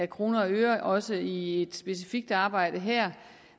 kroner og øre også i et specifikt arbejde her